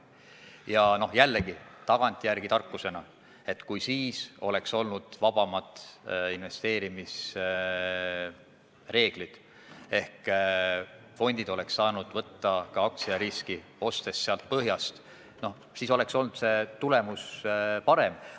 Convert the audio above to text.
Ja jällegi, tagantjärele tarkusena võib öelda, et kui siis oleks olnud vabamad investeerimisreeglid, kui fondid oleks saanud võtta ka aktsiariski, ostes põhjast, oleks tulemus olnud parem.